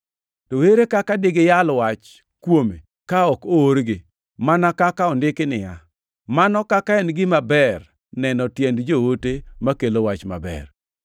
To ere kaka digiyal wach kuome ka ok oorgi? Mana kaka ondiki niya, “Mano kaka en gima ber neno tiend joote makelo wach maber!” + 10:15 \+xt Isa 52:7\+xt*